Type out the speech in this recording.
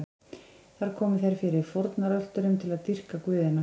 Þar komu þeir fyrir fórnarölturum til að dýrka guðina.